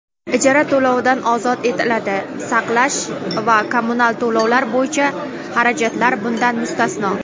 ijara to‘lovidan ozod etiladi (saqlash va kommunal to‘lovlar bo‘yicha xarajatlar bundan mustasno);.